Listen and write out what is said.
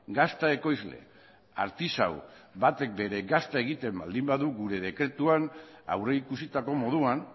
gazta ekoizle artisau batek bere gazta egiten baldin badu gure dekretuan aurrikusitako moduan